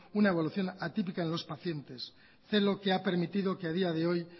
una evolución atípica en los pacientes celo que ha permitido que ha día de hoy